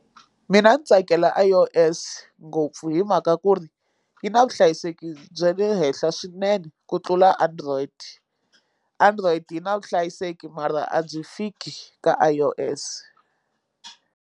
Mina ni tsakela I_O_S ngopfu hi mhaka ku ri yi na vuhlayiseki bya le henhla swinene ku tlula android android yi na vuhlayiseki mara a byi fiki ka I_O_S.